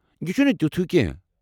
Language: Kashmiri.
یہِ چھُنہٕ تِیوٚتھ ہِیوٚ كینہہ ۔۔